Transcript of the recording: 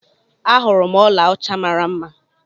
Ahurum ọla ọcha mara mma.